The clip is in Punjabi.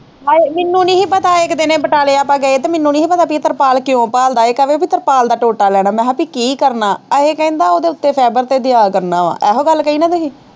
ਹਾਏ ਮੈਨੂੰ ਨਹੀਂ ਹੀ ਪਤਾ ਇੱਕ ਦਿਨ ਇਹ ਬਟਾਲੇ ਆਪਾਂ ਗਏ ਤੇ ਮੈਨੂੰ ਨਹੀਂ ਹੀ ਪਤਾ ਪੀ ਇਹ ਤਰਪਾਲ ਕਿਉਂ ਭਾਲਦਾ ਹੈ ਇਹ ਕਹਵੇ ਪੀ ਤਰਪਾਲ ਦਾ ਟੋਟਾ ਲੈਣਾ ਮੈਂ ਕਿਹਾ ਪਾ ਕੀ ਕਰਨਾ ਅਹੇ ਇਹ ਕਹਿੰਦਾ ਉਹਦੇ ਉੱਤੇ fiber ਤੇ ਦਿਆ ਕਰਨਾ ਹੈ ਇਹੋ ਗੱਲ ਕਹੀ ਹੀ ਨਾ ਤੁਸੀਂ।